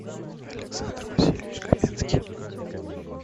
александр васильевич каменский